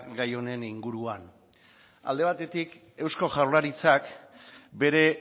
gai honen inguruan alde batetik eusko jaurlaritzak bere